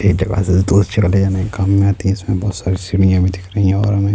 ایک دروازے سے دوسری جگہ لے جانے کے کام میں اتی ہے اس میں بہت ساری سوئیاں دکھ رہی ہیں اور ہم